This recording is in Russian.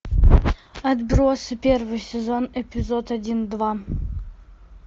отбросы первый сезон эпизод один два